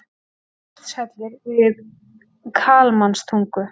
Surtshellir við Kalmanstungu.